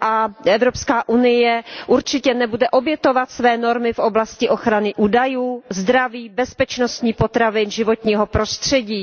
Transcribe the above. a Evropská unie určitě nebude muset obětovat své normy v oblasti ochrany údajů, zdraví, bezpečnosti potravin a životního prostředí.